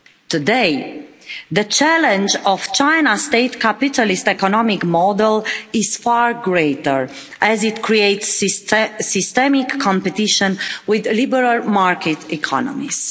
Today, the challenge of China's state capitalist economic model is far greater as it creates systemic competition with liberal market economies.